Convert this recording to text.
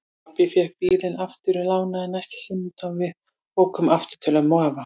Pabbi fékk bílinn aftur lánaðan næsta sunnudag og við ókum aftur til ömmu og afa.